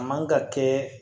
A man ka kɛ